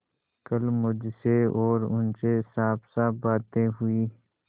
कल मुझसे और उनसे साफसाफ बातें हुई